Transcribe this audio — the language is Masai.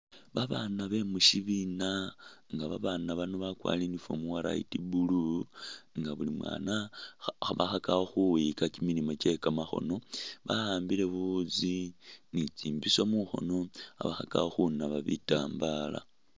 Babaana be mu syibina nga Babaana bano bakwarire uniform uwa light blue nga buli mwana kha khabakhakakho khukhwiyika kimilimu kye kamakhono ba'ambile buwuzi ni tsimbiso mukhono khabakhakakho khunaba bitambala.